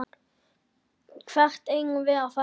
Hvert eigum við að fara?